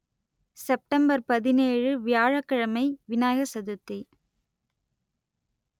September பதினேழு வியாழக் கிழமை விநாயகர் சதுர்த்தி